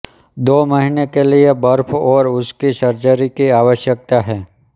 दो महीने के लिए बर्फ और उसकी सर्जरी की आवश्यकता है